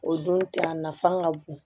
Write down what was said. O don tɛ a nafan ka bon